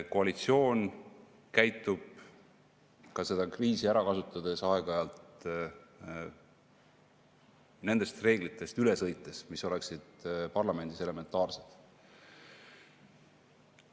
Koalitsioon ka seda kriisi ära kasutades sõidab aeg-ajalt üle nendest reeglitest, mis oleksid parlamendis elementaarsed.